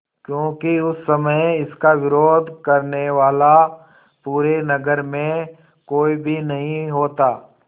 क्योंकि उस समय इसका विरोध करने वाला पूरे नगर में कोई भी नहीं होता